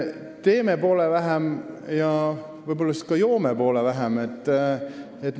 Teeme poole vähem ja võib-olla siis ka joome poole vähem!